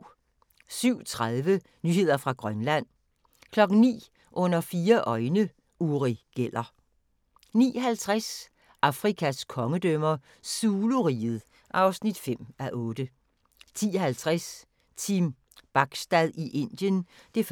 07:30: Nyheder fra Grønland 09:00: Under fire øjne – Uri Geller 09:50: Afrikas kongedømmer - Zulu-riget (5:8) 10:50: Team Bachstad i Indien (1:4)